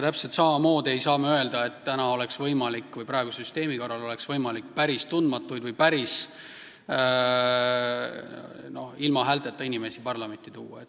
Täpselt samamoodi ei saa me öelda, et praeguse süsteemi korral oleks võimalik päris tundmatuid või päris ilma häälteta inimesi parlamenti tuua.